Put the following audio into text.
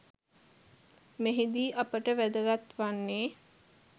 මෙහිදී අපට වැදගත් වන්නේ